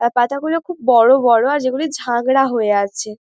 আর পাতাগুলি খুব বড়ো বড়ো আর যেগুলি ঝাঁকড়া হয়ে আছে ।